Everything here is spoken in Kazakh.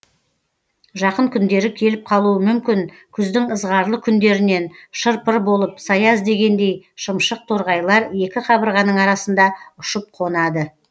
жақын күндері келіп қалуы мүмкін күздің ызғарлы күндерінен шыр пыр болып сая іздегендей шымшық торғайлар екі қабырғаның арасында ұшып қонады